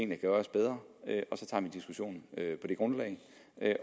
kan gøres bedre så tager vi diskussionen på det grundlag